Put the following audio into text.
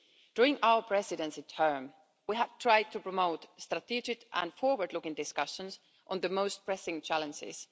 EU. During our Presidency term, we have tried to promote strategic and forward looking discussions on the most pressing challenges.